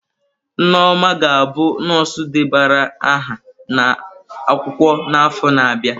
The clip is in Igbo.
Nneoma ga-abụ nọọsụ debara aha n'akwụkwọ n'afọ na-abịa.